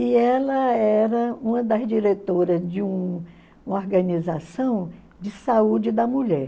E ela era uma das diretoras de uma organização de saúde da mulher.